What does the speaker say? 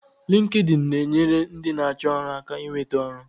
Linkedin na-enyere ndị na-achọ ọrụ aka inweta ọrụ